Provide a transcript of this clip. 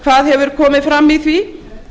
hvað hefur komið fram í því